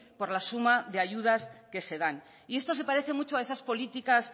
por la suma de ayudas que se dan y esto se parece mucho a esas políticas